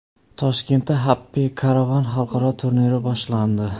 Toshkentda Happy Caravan xalqaro turniri boshlandi .